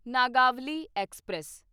Nagavali express